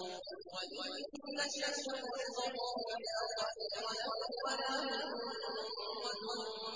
وَإِن نَّشَأْ نُغْرِقْهُمْ فَلَا صَرِيخَ لَهُمْ وَلَا هُمْ يُنقَذُونَ